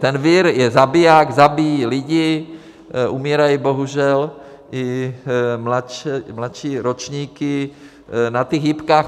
Ten vir je zabiják, zabíjí lidi, umírají bohužel i mladší ročníky na těch jipkách.